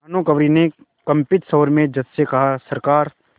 भानुकुँवरि ने कंपित स्वर में जज से कहासरकार